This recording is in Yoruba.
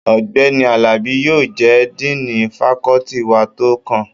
Ọ̀gbẹ́ni Àlàbí yóò jẹ́ díìnì fakọ́ọ́tì wa tó kàn